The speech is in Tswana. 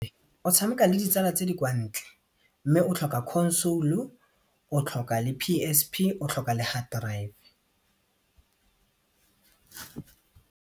O tshameka le ditsala tse di kwa ntle mme o tlhoka console-u, o tlhoka le PSP, o tlhoka le hard drive.